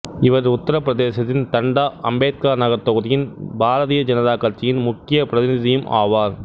இவர் உத்திரப் பிரதேசத்தின் தண்டா அம்பேத்கர் நகர் தொகுதியின் பாரதிய ஜனதா கட்சியின் முக்கிய பிரதிநிதியும் ஆவார்